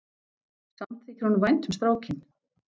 Samt þykir honum vænt um strákinn.